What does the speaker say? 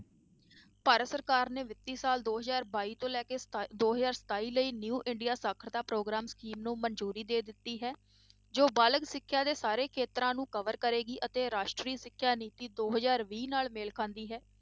ਭਾਰਤ ਸਰਕਾਰ ਨੇ ਵਿੱਤੀ ਸਾਲ ਦੋ ਹਜ਼ਾਰ ਬਾਈ ਤੋਂ ਲੈ ਕੇ ਦੋ ਹਜ਼ਾਰ ਸਤਾਈ ਲਈ new ਇੰਡੀਆ ਸਾਖ਼ਰਤਾ ਪ੍ਰੋਗਰਾਮ scheme ਨੂੰ ਮੰਨਜ਼ੂਰੀ ਦੇ ਦਿੱਤੀ ਹੈ ਜੋ ਬਾਲਗ ਸਿੱਖਿਆ ਦੇ ਸਾਰੇ ਖੇਤਰਾਂ ਨੂੰ cover ਕਰੇਗੀ ਅਤੇ ਰਾਸ਼ਟਰੀ ਸਿੱਖਿਆ ਨੀਤੀ ਦੋ ਹਜ਼ਾਰ ਵੀਹ ਨਾਲ ਮੇਲ ਖਾਂਦੀ ਹੈ,